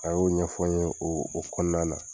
A y'o ɲɛfɔ n ye o o kɔnɔna na